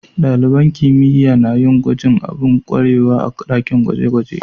Dalibain kimiyya na yin gwajin abu domin kwarewa a'dakin gwaje-gwaje.